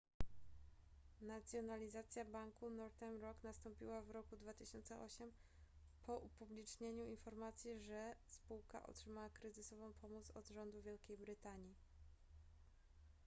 nacjonalizacja banku northern rock nastąpiła w roku 2008 po upublicznieniu informacji że spółka otrzymała kryzysową pomoc od rządu wielkiej brytanii